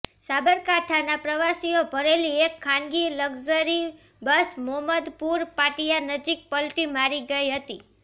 સાબરકાંઠાઃ પ્રવાસીઓ ભરેલી એક ખાનગી લકઝરી બસ મોમદપુર પાટિયા નજીક પલટી મારી ગઇ હતી